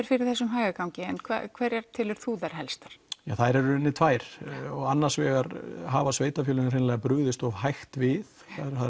fyrir þessum hægagangi en hverjar telur þú þær helstu það eru í rauninni tvær annars vegar hafa sveitarfélögin brugðist of hægt við